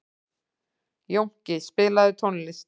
Jónki, spilaðu tónlist.